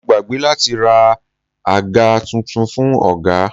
Mo gbàgbé láti ra àga tuntun fún ọ̀gá.